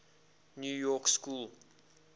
new york school